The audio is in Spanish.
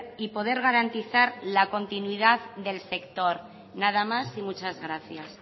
y poder garantizar la continuidad del sector nada más y muchas gracias